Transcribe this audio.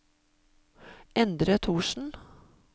Endre Thorsen